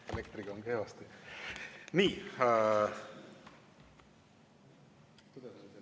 Elektriga on kehvasti.